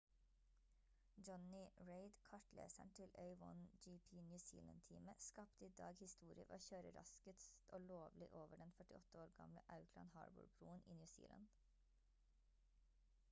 jonny reid kartleseren til a1gp new zealand-teamet skapte i dag historie ved å kjøre raskest og lovlig over den 48 år gamle auckland harbour-broen i new zealand